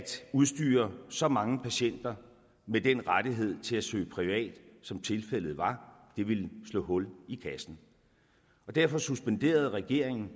udstyre så mange patienter med den rettighed til at søge privat som tilfældet var det ville slå hul i kassen derfor suspenderede regeringen